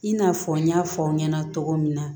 I n'a fɔ n y'a fɔ aw ɲɛna cogo min na